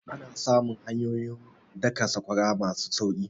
An samu hanyoyin daka sakwara masu sauki